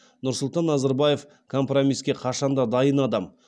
нұрсұлтан назарбаев компромиске қашан да дайын адам